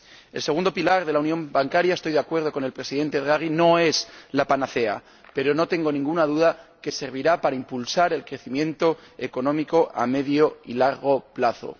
El segundo pilar de la unión bancaria —estoy de acuerdo con el Presidente Draghi— no es la panacea, pero no tengo ninguna duda de que servirá para impulsar el crecimiento económico a medio y largo plazo